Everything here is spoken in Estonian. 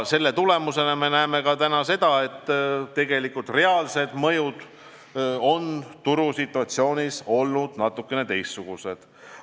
Selle tulemusena me näeme, et reaalsed mõjud on turusituatsioonis olnud natukene teistsugused.